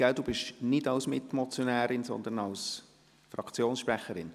Sie sprechen nicht als Mitmotionärin, sondern als Fraktionssprecherin.